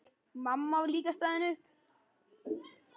Mamma var líka staðin upp.